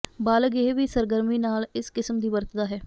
ਬਾਲਗ ਇਹ ਵੀ ਸਰਗਰਮੀ ਨਾਲ ਇਸ ਕਿਸਮ ਦੀ ਵਰਤਦਾ ਹੈ